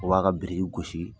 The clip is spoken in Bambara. O b'a ka biriki gosi